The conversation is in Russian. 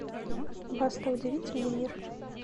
баста удивительный мир